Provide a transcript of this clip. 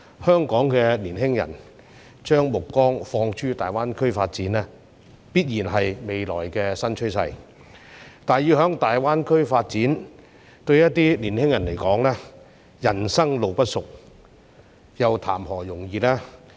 香港青年人將目光放諸大灣區發展，必然是未來新趨勢，但要在大灣區發展，對一些青年人而言，人生路不熟，談何容易。